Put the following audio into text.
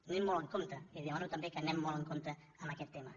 anem molt amb compte i li demano també que anem molt amb compte en aquest tema